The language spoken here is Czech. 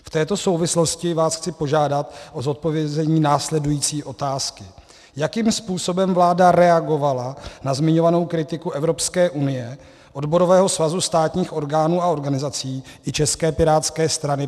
V této souvislosti vás chci požádat o zodpovězení následující otázky: Jakým způsobem vláda reagovala na zmiňovanou kritiku Evropské unie, Odborového svazu státních orgánů a organizací i České pirátské strany?